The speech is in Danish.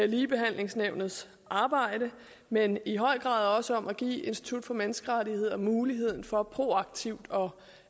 ligebehandlingsnævnets arbejde men i høj grad også om at give institut for menneskerettigheder mulighed for proaktivt